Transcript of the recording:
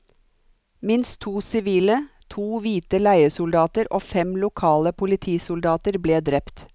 Minst to sivile, to hvite leiesoldater og fem lokale politisoldater ble drept.